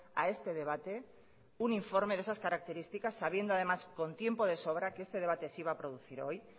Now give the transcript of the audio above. a este debate un informe de esas características sabiendo además con tiempo de sobra que este debate se iba a producir hoy